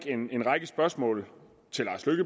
en række spørgsmål